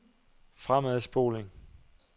fremadspoling